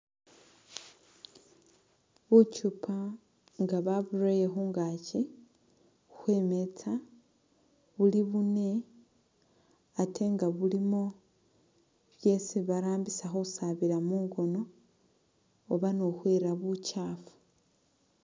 Bukyupa nga baburele khungakyi khwe’metsa , buli bune ate nga bulimo byesi barambisa khusabila mungono oba ni khukhwira bukyafu .